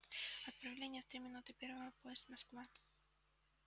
отправление в три минуты первого поезд москва